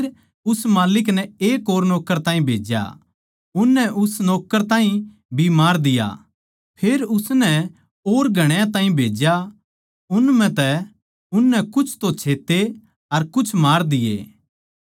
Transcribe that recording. फेर उस माल्लिक नै एक और ताहीं भेज्या उननै उस नौक्कर ताहीं भी मार दिया फेर उसनै और घणया ताहीं भेज्या उन म्ह तै उननै कुछ तो छेत्ते अर कुछ मार दिये